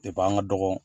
Depi an ka dɔgɔ